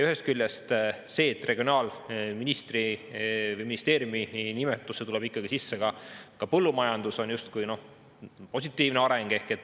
Ühest küljest see, et regionaalministeeriumi nimetusse tuleb ikkagi sisse ka põllumajandus, on justkui positiivne areng.